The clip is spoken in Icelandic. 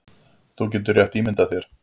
Þú getur rétt ímyndað þér